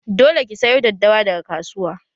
Dole ki sayo daddawa daga kasuwa!